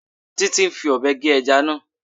Títí ń fi Ọ̀bẹ gé ẹja náà